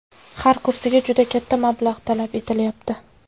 Har kursiga juda katta mablag‘ talab etilyapti.